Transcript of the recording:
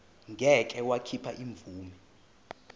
ngeke wakhipha imvume